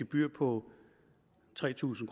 gebyr på tre tusind